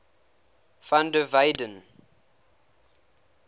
van der weyden